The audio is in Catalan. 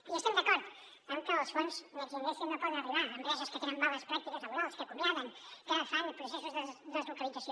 i estem d’acord en que els fons next generation no poden arribar a empreses que tenen males pràctiques laborals que acomiaden que fan processos de deslocalització